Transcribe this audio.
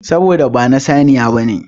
Saboda ba na saniya ne.